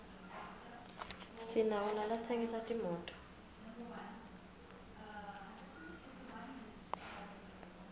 sinawo nalatsengisa timoto